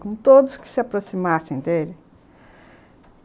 Com todos que se aproximassem dele.